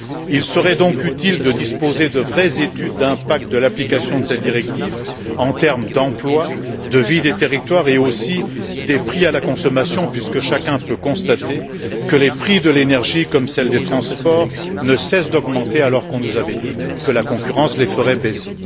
Il serait donc utile de disposer de vraies études d'impact de l'application de cette directive en termes d'emploi, de vie des territoires et aussi de prix à la consommation puisque chacun peut constater que les prix de l'énergie, comme ceux des transports, ne cessent d'augmenter alors qu'on nous avait dit que la concurrence les ferait baisser.